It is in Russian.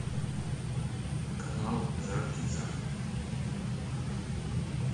канал жар птица